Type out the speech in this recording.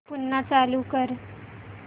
पुन्हा चालू कर